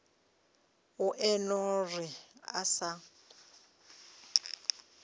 o eno re a sa